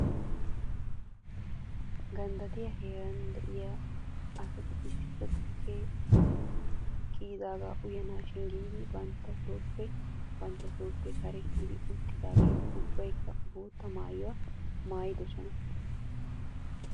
Ganddattiyaa heeraara de'iyaa asati issippe tukkee kiyiyaagaa uyanaashin giidi bantta sooppe bantta sooppe kare kiyidi uttidaageeti ubbaykka bootta maayuwaa maayidosona